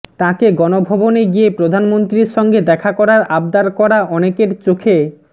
তাঁকে গণভবনে গিয়ে প্রধানমন্ত্রীর সঙ্গে দেখাকরার আবদার করা অনেকের চোখে